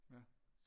Ja